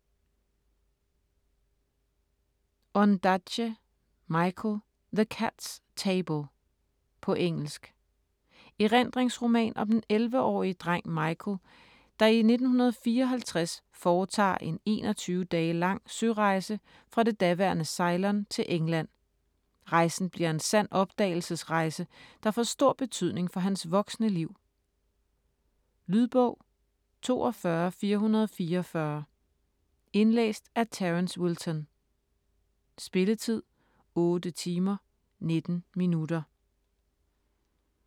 Ondaatje, Michael: The cat's table På engelsk. Erindringsroman om den 11-årige dreng Michael, der i 1954 foretager en 21 dage lang sørejse fra det daværende Ceylon til England. Rejsen bliver en sand opdagelsesrejse, der får stor betydning for hans voksne liv. Lydbog 42444 Indlæst af Terence Wilton Spilletid: 8 timer, 19 minutter.